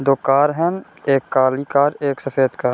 दो कार है | एक काली कार एक सफेद कार |